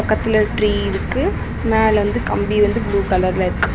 பக்கத்துல ட்ரீ இருக்கு மேல கம்பி வந்து ப்ளூ கலர்ல இருக்கு.